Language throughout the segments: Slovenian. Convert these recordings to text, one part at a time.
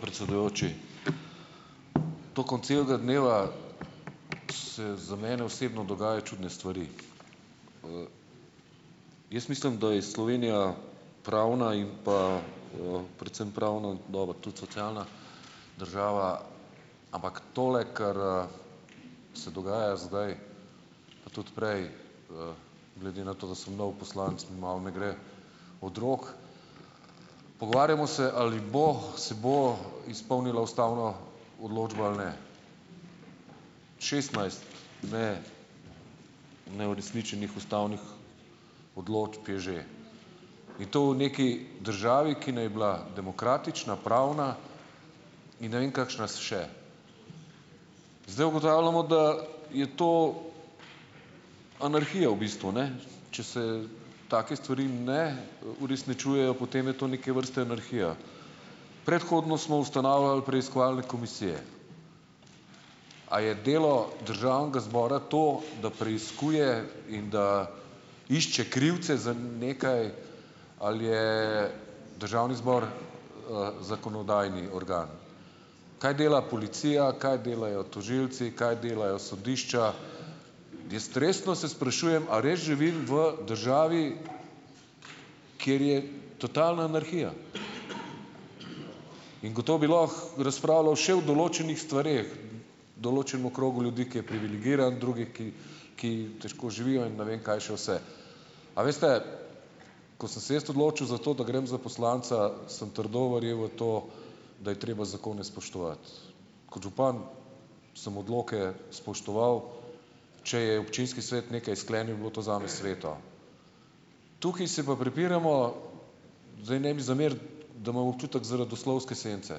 Predsedujoči. Tekom celega dneva se za mene osebno dogajajo čudne stvari. Jaz mislim, da je Slovenija pravna in pa, predvsem pravno, dobro, tudi socialna država, ampak tole, kar, se dogaja zdaj, pa tudi prej, glede na to, da sem nov poslanec, malo ne gre od rok. Pogovarjamo se, ali bo, se bo izpolnila ustavna odločba ali ne. Šestnajst neuresničenih ustavnih odločb je že in to v neki državi, ki ni bila demokratična, pravna in ne vem kakšna še. Zdaj ugotavljamo, da je to anarhija v bistvu, ne. Če se take stvari ne, uresničujejo, potem je to neke vrste anarhija. Predhodno smo ustanavljali preiskovalne komisije. A je delo državnega zbora to, da preiskuje in da išče krivce za, nekaj? Ali je državni zbor, zakonodajni organ? Kaj dela policija, kaj delajo tožilci, kaj delajo sodišča? Jaz resno se sprašujem, a res živim v državi, kjer je totalna anarhija? In gotovo bi lahko razpravljal še o določenih stvareh določenem krogu ljudi, ki je privilegiran, drugi, ki ki težko živijo in ne vem kaj še vse. A veste, ko sem se jaz odločil za to, da grem za poslanca, sem trdno verjel v to, da je treba zakone spoštovati. Kot župan sem odloke spoštoval. Če je občinski svet nekaj sklenil, je bilo to zame sveto. Tukaj se pa prepiramo, zdaj ne mi zameriti, da, imam občutek, zaradi oslovske sence.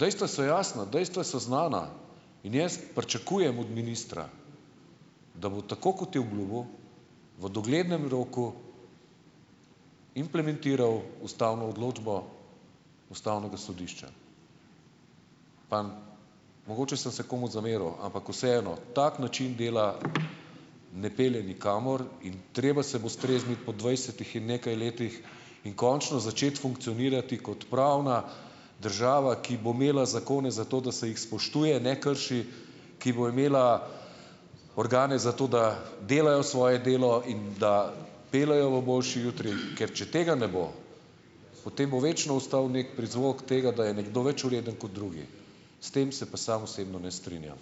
Dejstva so jasna, dejstva so znana in jaz pričakujem od ministra, da bo tako, kot je obljubil, v doglednem roku implementiral ustavno odločbo ustavnega sodišča. Pa mogoče sem se komu zameril, ampak vseeno. Tak način dela ne pelje nikamor. In treba se bo strezniti po dvajsetih in nekaj letih in končno začeti funkcionirati kot pravna država, ki bo imela zakone zato, da se jih spoštuje, ne krši, ki bo imela organe zato, da delajo svoje delo in da peljejo v boljši jutri. Ker če tega ne bo, potem bo večno ostal neki prizvok tega, da je nekdo več vreden kot drugi. S tem se pa sam osebno ne strinjam.